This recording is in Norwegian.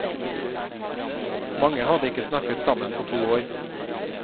Mange hadde ikke snakket sammen på to år.